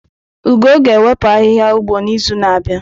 Ugo ga-ewepu ahihia ugbo n'izu na-abịa.